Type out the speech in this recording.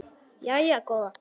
Jæja góða.